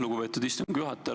Lugupeetud istungi juhataja!